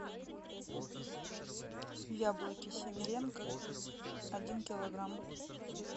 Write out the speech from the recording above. яблоки симиренко один килограмм